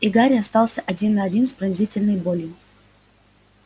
и гарри остался один на один с пронзительной болью